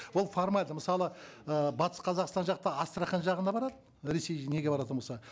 ол формальді мысалы ы батыс қазақстан жақта астрахань жағына барады ресей неге баратын болса